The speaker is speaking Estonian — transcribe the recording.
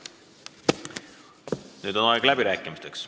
Nüüd on aeg läbirääkimisteks.